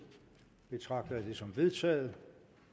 betragter jeg det som vedtaget